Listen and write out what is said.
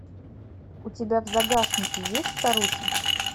у тебя в загашнике есть старухи